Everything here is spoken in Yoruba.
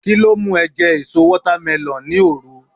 kilo mu e je èso watermelon ni oru